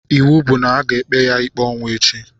Ịwụ bụ na-aga ekpe ya ikpe ọnwụ echi